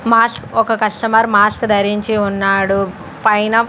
mask ఒక customer mask ధరించి ఉన్నాడు పైన--